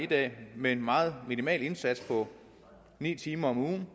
dag et med en meget minimal indsats på ni timer om ugen